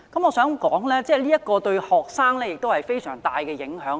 我認為這對於學生有非常大的影響。